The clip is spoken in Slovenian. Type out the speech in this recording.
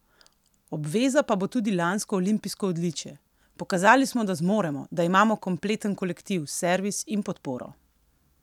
Obveza pa bo tudi lansko olimpijsko odličje: "Pokazali smo, da zmoremo, da imamo kompleten kolektiv, servis in podporo.